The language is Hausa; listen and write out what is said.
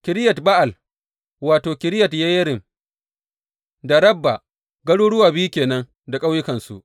Kiriyat Ba’al wato, Kiriyat Yeyarim da Rabba, garuruwa biyu ke nan da ƙauyukansu.